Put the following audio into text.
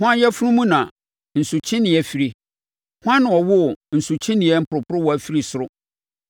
Hwan yafunu mu na nsukyeneeɛ fire? Hwan na ɔwoo nsukyeneeɛ mporoporowa firi soro